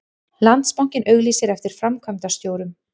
Landsbankinn auglýsir eftir framkvæmdastjórum